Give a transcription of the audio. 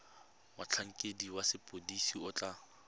motlhankedi wa sepodisi o tla